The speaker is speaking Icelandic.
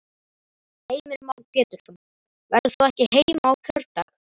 Heimir Már Pétursson: Verður þú ekki heima á kjördag?